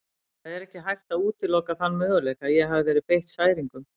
Það er ekki hægt að útiloka þann möguleika að ég hafi verið beitt særingum.